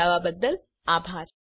જોડાવા બદ્દલ આભાર